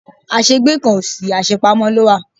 Àṣẹ gbé kan kò sí, àṣe pamọ́ ló wà.